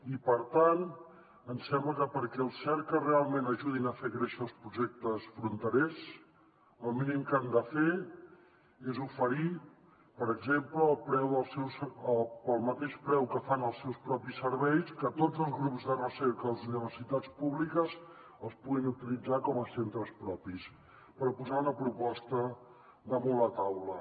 i per tant ens sembla que perquè els cerca realment ajudin a fer créixer els projectes fronterers el mínim que han de fer és oferir per exemple pel mateix preu que fan els seus propis serveis que tots els grups de recerca de les universitats públiques els puguin utilitzar com a centres propis per posar una proposta damunt la taula